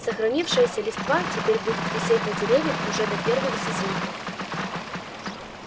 сохранившаяся листва теперь будет висеть на деревьях уже до первых зазимков